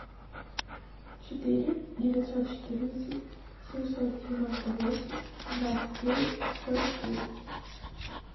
четыре девятьсот четырнадцать семьсот девяносто восемь двадцать девять сорок девять